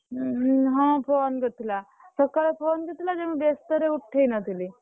ହଁ phone କରିଥିଲା ସକାଳେ phone କରିଥିଲା ଯେ ମୁଁ ବ୍ୟସ୍ତରେ ଉଠେଇନଥିଲି।